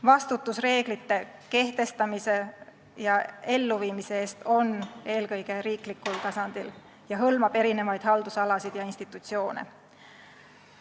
Vastutus reeglite kehtestamise ja elluviimise eest on eelkõige riiklikul tasandil ning hõlmab erinevaid haldusalasid ja institutsioone.